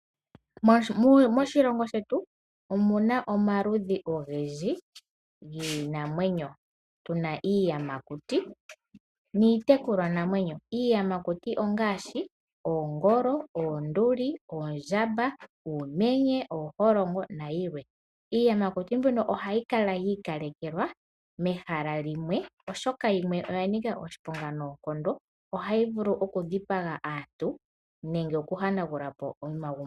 Moshilongo shetu omuna omaludhi ogendji giinamwenyo . Otuna iiyamakuti niitekulwanamwenyo. Iiyamakuti ongaashi oongolo, oonduli, oondjamba, uumenye, ooholongo nayilwe. Iiyamakuti mbino ohayi kala yi ikalekelwa mehala limwe molwaashoka yimwe oyanika oshiponga noonkondo mono hayi vulu okudhipaga aantu nokuhanagulapo omalukalwa gawo.